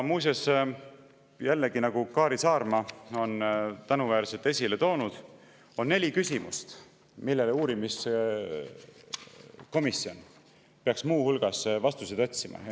Ja nagu Kaari Saarma on tänuväärselt esile toonud, on neli küsimust, millele uurimiskomisjon peaks muu hulgas vastuseid otsima.